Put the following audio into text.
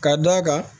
Ka d'a kan